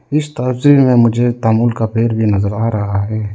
इस ताबजी में मुझे तामुल का पेड़ भी नजर आ रहा है।